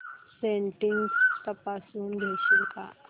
settings तपासून घेशील का